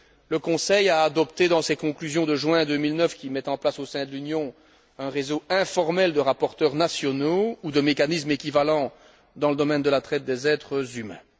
le Conseil a adopté, dans ses conclusions de juin 2009, la mise en place au sein de l'Union, d'un réseau informel de rapporteurs nationaux ou de mécanismes équivalents dans le domaine de la traite humains.